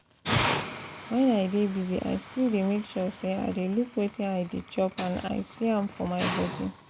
when i dey busy i still dey make sure say i dey look wetin i dey chop and i see am for my body